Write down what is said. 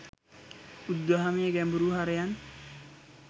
බුදුදහමේ ගැඹුරු හරයන්